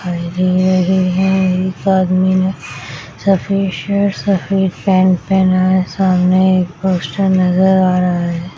एक आदमी ने सफेद शर्ट सफेद पेन्ट पहना है सामने एक पोस्टर नजर आ रहा है।